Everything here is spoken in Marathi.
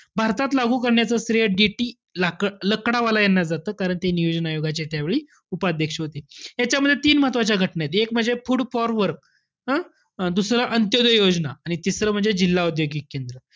भारतात लागू करण्याचं श्रेय गेटी लाकड~ लकडावाला यांना जातं. कारण ते नियोजन आयोगाचे त्यावेळी उपाध्यक्ष होते. ह्यांच्यामध्ये तीन महत्वाच्या घटना आहेत. एक म्हणजे food for work हं? दुसरं पंचोदय योजना आणि तिसरं म्हणजे जिल्हा औद्योगिक केंद्र.